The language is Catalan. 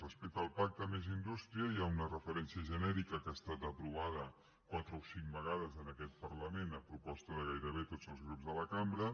respecte al pacte més indústria hi ha una referència genèrica que ha estat aprovada quatre o cinc vegades en aquest parlament a proposta de gairebé tots els grups de la cambra